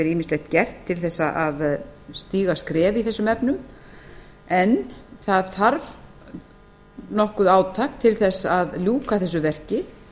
ýmislegt gert til þess að stíga skref í þessum efnum en það þarf nokkurt átak til þess að ljúka þessu verki